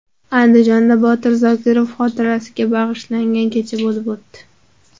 Andijonda Botir Zokirov xotirasiga bag‘ishlangan kecha bo‘lib o‘tdi.